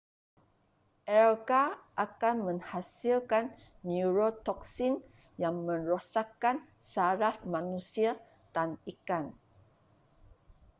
alga akan menghasilkan neurotoksin yang merosakkan saraf manusia dan ikan